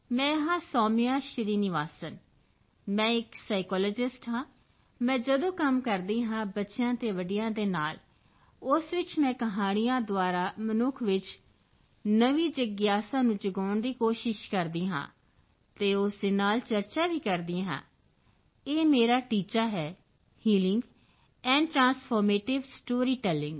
ਮੈਂ ਹਾਂ ਸੋਮਿਯਾ ਸ਼੍ਰੀਨਿਵਾਸਨ ਮੈਂ ਇੱਕ ਸਾਈਕੋਲੋਜਿਸਟ ਹਾਂ ਮੈਂ ਜਦੋਂ ਕੰਮ ਕਰਦੀ ਹਾਂ ਬੱਚਿਆਂ ਅਤੇ ਵੱਡਿਆਂ ਦੇ ਨਾਲ ਉਸ ਵਿੱਚ ਮੈਂ ਕਹਾਣੀਆਂ ਦੁਆਰਾ ਮਨੁੱਖ ਵਿੱਚ ਨਵੀਂ ਜਿਗਿਆਸਾ ਨੂੰ ਜਗਾਉਣ ਦੀ ਕੋਸ਼ਿਸ਼ ਕਰਦੀ ਹਾਂ ਅਤੇ ਉਸ ਦੇ ਨਾਲ ਚਰਚਾ ਵੀ ਕਰਦੀ ਹਾਂ ਇਹ ਮੇਰਾ ਟੀਚਾ ਹੈ ਹੀਲਿੰਗ ਐਂਡ ਟ੍ਰਾਂਸਫਾਰਮੇਟਿਵ storytelling